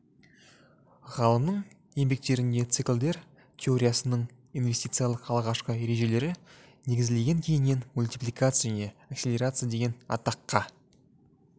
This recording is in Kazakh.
ғалымның еңбектерінде циклдер теориясының инвестициялық алғашқы ережелері негізделген кейіннен мультипликация және акселерация деген атаққа